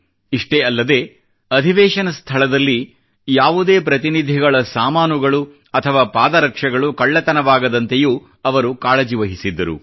ಇಷ್ಟೇ ಅಲ್ಲದೆ ಅಧಿವೇಶನ ಸ್ಥಳದಲ್ಲಿ ಯಾವುದೇ ಪ್ರತಿನಿಧಿಗಳ ಸಾಮಾನುಗಳು ಅಥವಾ ಪಾದ ರಕ್ಷೆಗಳು ಕಳ್ಳತನವಾಗದಂತೆಯೂ ಅವರು ಕಾಳಜಿ ವಹಿಸಿದ್ದರು